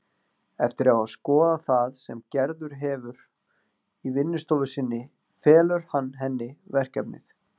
Eftir að hafa skoðað það sem Gerður hefur í vinnustofu sinni felur hann henni verkefnið.